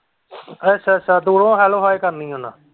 ਅੱਛਾ ਅੱਛ ਦੂਰੋਂ ਹੀ hello hi ਕਰਨੀ ਹੈ ਮੈਂ।